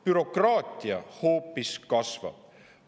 Bürokraatia hoopis kasvab.